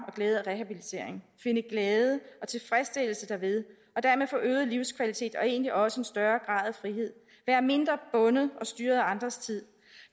glæde af rehabilitering finde glæde og tilfredsstillelse derved og dermed få øget livskvalitet og egentlig også en større grad af frihed være mindre bundet og styret af andres tid